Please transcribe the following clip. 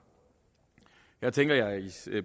her tænker jeg især